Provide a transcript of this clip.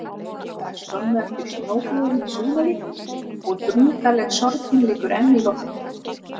Það er skömmu eftir snjóflóðin í Súðavík, og drungaleg sorgin liggur enn í loftinu.